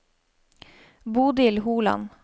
Bodil Holand